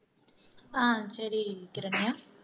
ஆஹ் சரி கிரண்யா